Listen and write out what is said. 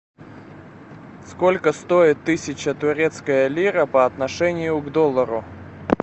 сколько стоит тысяча турецкая лира по отношению к доллару